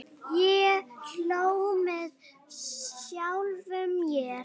Ég hló með sjálfum mér.